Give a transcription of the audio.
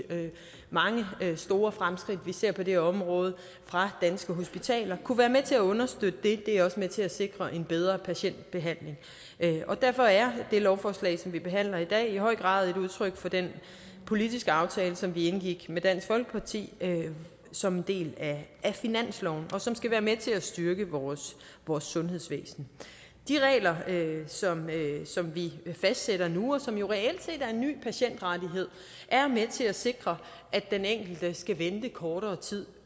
mange store fremskridt vi ser på det område fra danske hospitaler kunne være med til at understøtte det det er også med til at sikre en bedre patientbehandling derfor er det lovforslag som vi behandler i dag i høj grad et udtryk for den politiske aftale som vi indgik med dansk folkeparti som en del af finansloven og som skal være med til at styrke vores sundhedsvæsen de regler som vi fastsætter nu og som jo reelt set er en ny patientrettighed er med til at sikre at den enkelte skal vente kortere tid